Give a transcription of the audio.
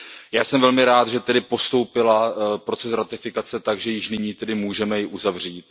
Já jsem velmi rád, že tedy postoupil proces ratifikace tak, že již nyní ji můžeme uzavřít.